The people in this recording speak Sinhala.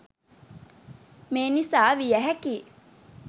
මේ නිසා විය හැකියි.